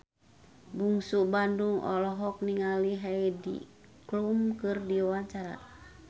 Bungsu Bandung olohok ningali Heidi Klum keur diwawancara